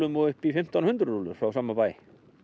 og upp í fimmtán hundruð rúllum frá sama bæ